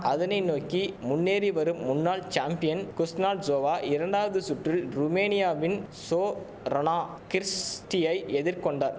அதனை நோக்கி முன்னேறி வரும் முன்னாள் சாம்பியன் குஸ்னாட்ஜோவா இரண்டாவது சுற்றில் ருமேனியாவின் சோரனா கிர்ஸ்டியை எதிர்கொண்ட